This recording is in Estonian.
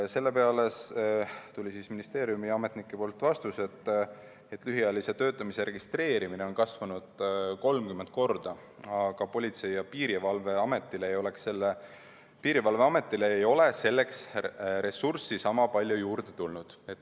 Selle peale tuli ministeeriumi ametnikelt vastus, et lühiajalise töötamise registreerimine on kasvanud 30 korda, aga Politsei- ja Piirivalveametil ei ole selleks ressurssi niisama palju juurde tulnud.